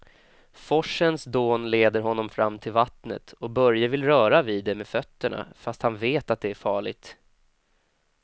Forsens dån leder honom fram till vattnet och Börje vill röra vid det med fötterna, fast han vet att det är farligt.